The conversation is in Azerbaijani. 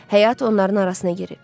Həyat onların arasına girib.